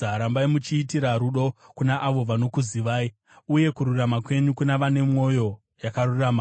Rambai muchiitira rudo kuna avo vanokuzivai, uye kururama kwenyu kuna vane mwoyo yakarurama.